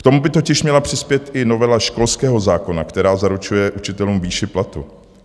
K tomu by totiž měla přispět i novela školského zákona, která zaručuje učitelům výši platu.